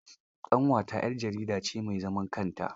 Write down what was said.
Ƙanwata 'yar jarida ce mai zaman kanta.